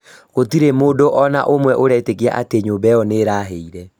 Gũtirĩ mũndũ ona ũmwe ũretĩkia atĩ nyũmba ĩo nĩ ĩrahĩire